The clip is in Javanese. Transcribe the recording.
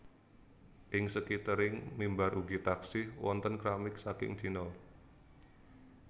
Ing skitering mimbar ugi taksih wonten kramik saking China